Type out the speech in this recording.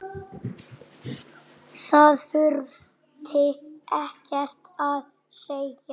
Það þurfti ekkert að segja.